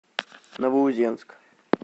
новоузенск